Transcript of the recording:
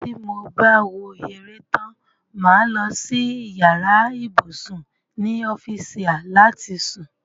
tí mo bá wo eré tán, mà á lọ sí yàrá ibùsùn ni ọ́fùsià láti sùn.